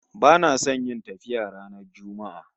Bana son yin tafiya ranar Juma'a